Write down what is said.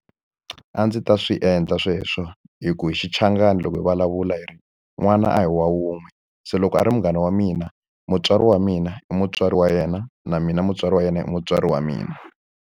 A ndzi ta swi endla sweswo, hi ku hi xichangani loko hi vulavula hi ri n'wana a hi wa wun'we. Se loko a ri munghana wa mina, mutswari wa mina i mutswari wa yena, na mina mutswari wa yena i mutswari wa mina.